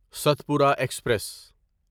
Satpura express